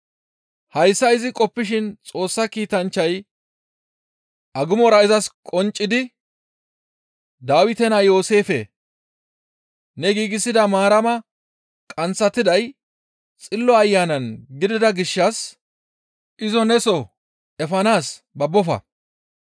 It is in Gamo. Hayssa izi qoppishin Xoossa kiitanchchay agumora izas qonccidi, «Dawite naa Yooseefe! Ne giigsida Maarama qanththatiday Xillo Ayanan gidida gishshas izo neso efanaas babbofa.